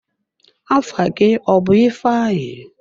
Afa gị ọ bụ ifeanyi?